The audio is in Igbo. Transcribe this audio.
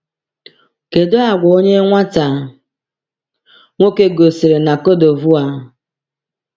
“Kedu àgwà onye nwata nwoke gosiri na Côte d’Ivoire?”